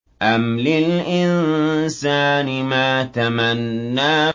أَمْ لِلْإِنسَانِ مَا تَمَنَّىٰ